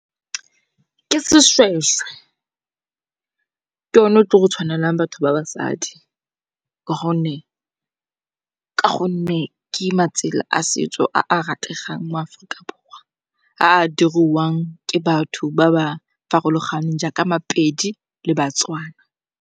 ke sešhwešhwe, ke yone o tlo go tshwanelang batho ba basadi. Ka gonne ke matsela a setso a a rategang mo Aforika Borwa a a diriwang ke batho ba ba farologaneng jaaka Mapedi le Batswana.